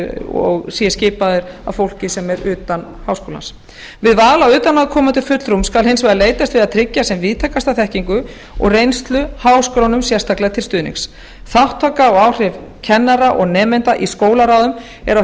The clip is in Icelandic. og sé skipaður af fólki sem er utan háskólans við val á utanaðkomandi fulltrúum skal hins vegar leitast við að tryggja sem víðtækasta þekkingu og reynslu háskólanum sérstaklega til stuðnings þátttaka og áhrif kennara og nemenda í skólaráðum er á